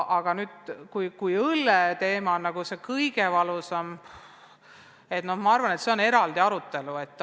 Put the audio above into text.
Mis puutub õlleteemasse, siis ma arvan, et see on väärt eraldi arutelu.